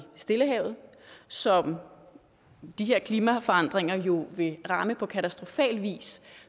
stillehavet som de her klimaforandringer jo vil ramme på katastrofal vis